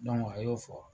a y'o fɔ